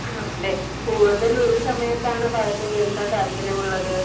ആണല്ലേ? കൂടുതൽ ഏതു സമയത്താണ് പാട്ട് കേൾക്കാൻ താല്പര്യം ഉള്ളത്